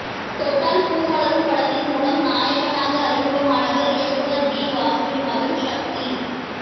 தொட்டால் பூ மலரும் படத்தின் மூலம் நாயகனாக அறிமுகமானவர் இயக்குநர் பி வாசுவின் மகன் சக்தி